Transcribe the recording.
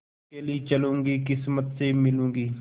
अकेली चलूँगी किस्मत से मिलूँगी